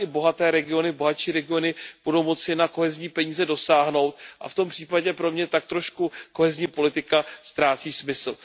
i bohaté regiony, bohatší regiony budou moci na kohezní peníze dosáhnout a v tom případě pro mě tak trochu kohezní politika ztrácí smysl.